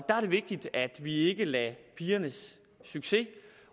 er det vigtigt at vi ikke lader pigernes succes